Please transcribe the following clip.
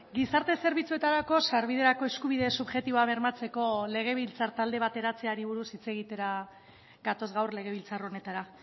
gizarte zerbitzuetarako sarbiderako eskubide subjektiboa bermatzeko legebiltzar talde bat eratzeari buruz hitz egitera gatoz gaur legebiltzar honetara